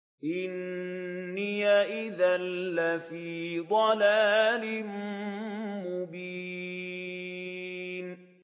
إِنِّي إِذًا لَّفِي ضَلَالٍ مُّبِينٍ